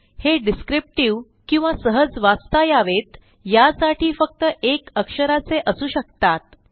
हे डिस्क्रिप्टिव्ह किंवा सहज वाचता यावेत यासाठी फक्त एक अक्षराचे असू शकतात